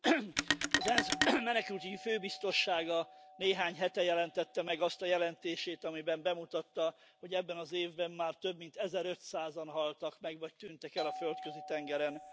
Elnök Úr! Az ENSZ Menekültügyi Főbiztossága néhány hete jelentette meg azt a jelentését, amiben bemutatta, hogy ebben az évben már több mint ezerötszázan haltak meg vagy tűntek el a Földközi tengeren.